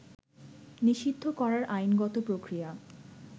নিষিদ্ধ করার আইনগত প্রক্রিয়া